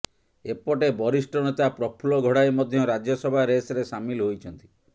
ଏପଟେ ବରିଷ୍ଠ ନେତା ପ୍ରଫୁଲ୍ଲ ଘଡ଼ାଇ ମଧ୍ୟ ରାଜ୍ୟସଭା ରେସ୍ରେ ସାମିଲ ହୋଇଛନ୍ତି